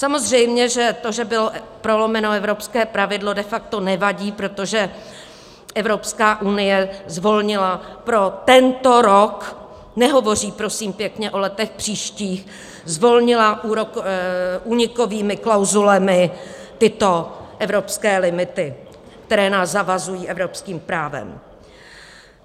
Samozřejmě že to, že bylo prolomeno evropské pravidlo, de facto nevadí, protože Evropská unie zvolnila pro tento rok - nehovoří prosím pěkně o letech příštích - zvolnila únikovými klauzulemi tyto evropské limity, které nás zavazují evropským právem.